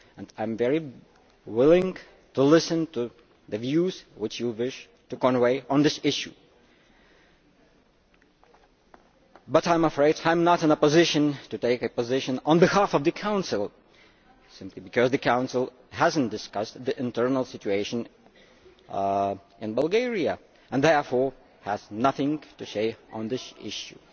I am willing to listen to the views which you wish to convey on this issue. However, I am afraid I am not in a position to take a position on behalf of the Council simply because the Council has not discussed the internal situation in Bulgaria and therefore has nothing to say on this issue.